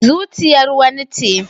Zuciyar wani ce